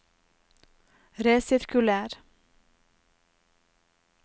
resirkuler